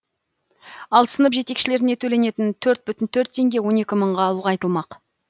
ал сынып жетекшілеріне төленетін төрт бүтін төрт теңге он екі мыңға ұлғайтылмақ